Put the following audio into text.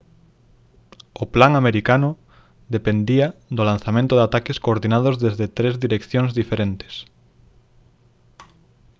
o plan americano dependía do lanzamento de ataques coordinados desde tres direccións diferentes